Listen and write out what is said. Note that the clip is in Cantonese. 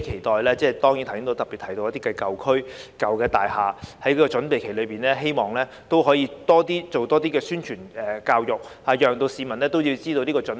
對於我剛才特別提及的一些舊區和舊大廈，我期待政府在這個準備期內，可以多做宣傳教育，讓市民知道要有所準備。